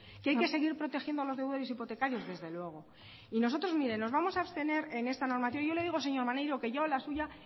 que hay que seguir protegiendo a los deudores hipotecarios desde luego y nosotros mire nos vamos a abstener en esta normativa yo le digo señor maneiro que yo la suya